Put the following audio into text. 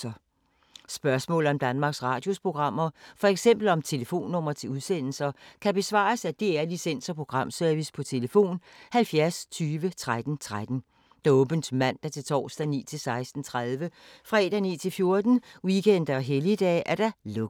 Spørgsmål om Danmarks Radios programmer, f.eks. om telefonnumre til udsendelser, kan besvares af DR Licens- og Programservice: tlf. 70 20 13 13, åbent mandag-torsdag 9.00-16.30, fredag 9.00-14.00, weekender og helligdage: lukket.